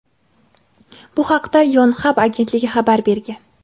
Bu haqda "Yonhap" agentligi xabar bergan.